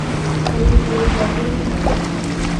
Kũrĩkĩrĩria thĩinĩ.